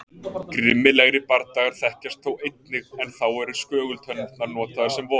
Grimmilegri bardagar þekkjast þó einnig en þá eru skögultennurnar notaðar sem vopn.